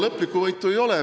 Lõplikku võitu veel ei ole.